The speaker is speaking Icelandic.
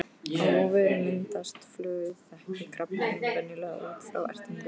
Á vörum myndast flöguþekjukrabbamein venjulega út frá ertingu.